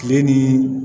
Kile ni